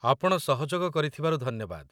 ଆପଣ ସହଯୋଗ କରିଥିବାରୁ ଧନ୍ୟବାଦ ।